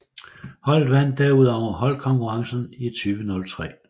Holdet vandt derudover holdkonkurrencen i 2003